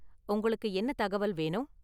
உங்களுக்கு என்ன தகவல் வேணும்?